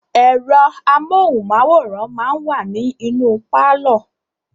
Ẹ̀rọ amóhùnmáwòrán máa wa ní inú pálọ̀.